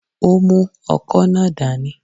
Ó mú ọkọ́ náà dání